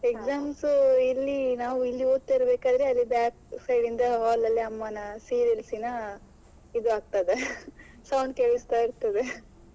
Exams ಇಲ್ಲಿ ನಾವು ಓದ್ತಾ ಇರ್ಬೇಕಾದ್ರೆ ಅಲ್ಲಿ back side ಇಂದ hall ಅಲ್ಲಿ ಅಮ್ಮನ serials ನಾ ಇದು ಆಗ್ತದೆ sound ಕೇಳಿಸ್ತಾ ಇರ್ತದೆ.